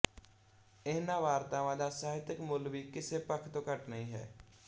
ਇਹਨਾਂ ਵਾਰਤਾਵਾਂ ਦਾ ਸਾਹਿਤਕ ਮੁੱਲ ਵੀ ਕਿਸੇ ਪੱਖ ਤੋਂ ਘੱਟ ਨਹੀਂ ਹੈ